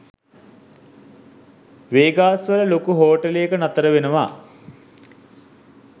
Vegas වල ලොකු හෝටලේක නතර වෙනවා